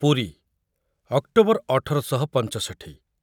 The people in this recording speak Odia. ପୁରୀ, ଅକ୍ଟୋବର ଅଠର ଶହ ପଞ୍ଚଷଠୀ